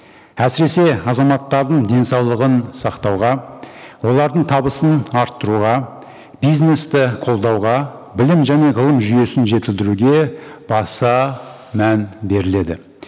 әсіресе азаматтардың денсаулығын сақтауға олардың табысын арттыруға бизнесті қолдауға білім және ғылым жүйесін жетілдіруге баса мән беріледі